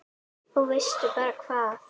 Og veistu bara hvað